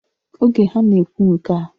Oge ha na-ekwu nkea